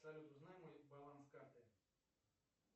салют узнай мой баланс карты